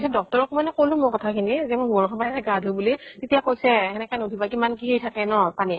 doctor ক মানে কʼলো কথা খিনি, যে মই বৰষুণৰ গা ধু বুলি, তেতিয়া কৈছে , সেনেকে নুধোবা, কিমান কি থাকে ন পানী ত ?